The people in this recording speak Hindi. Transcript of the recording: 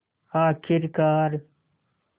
आख़िरकार